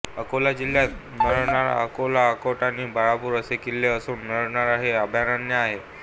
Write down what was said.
अकोला जिल्ह्यात नरनाळा अकोला अकोट आणि बाळापूर असे किल्ले असून नरनाळा हे अभयारण्य आहे